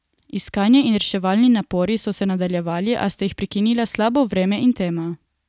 Iskanje in reševalni napori so se nadaljevali, a sta jih prekinila slabo vreme in tema.